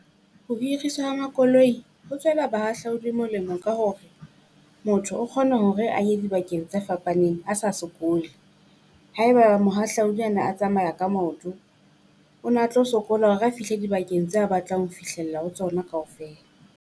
Ho hiriswa ha makoloi ho tswela bahahlaudi molemo ka hore, motho o kgona ho re a ye dibakeng tse fapaneng a sa sokole. Haeba mohahlaudi a ne a tsamaya ka maoto, o na tlo sokola ho re a fihle dibakeng tse batlang ho fihlella ho tsona kaofela.